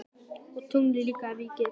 Og tunglið líka ef ég geti.